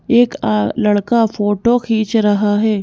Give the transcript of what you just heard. एक आ लड़का फोटो खींच रहा है।